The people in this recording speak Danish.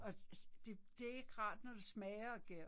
Og altså det det er ikke rart når det smager af gær